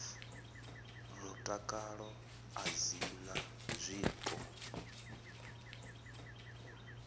mutakalo a dzi na zwiko